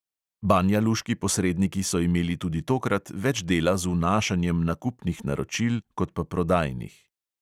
Banjaluški posredniki so imeli tudi tokrat več dela z vnašanjem nakupnih naročil kot pa prodajnih.